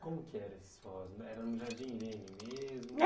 Como que era esses forrós, era no Jardim Irene mesmo? Ah